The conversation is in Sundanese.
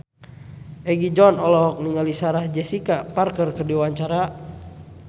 Egi John olohok ningali Sarah Jessica Parker keur diwawancara